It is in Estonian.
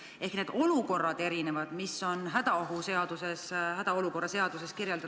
Ehk need olukorrad on erinevad, mida on hädaolukorra seaduses kirjeldatud.